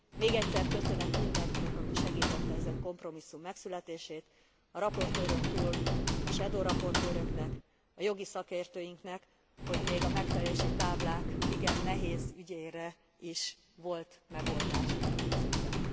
Még egyszer köszönet mindenkinek aki segítette ezen kompromisszum megszületését, a raportőrön túl a shadow raportőröknek, a jogi szakértőinknek, hogy még a megfelelési táblák igen nehéz ügyére is volt megoldás ebben az ügyben.